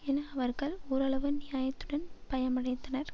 என அவர்கள் ஒரளவு நியாயத்துடன் பயமடைத்தனர்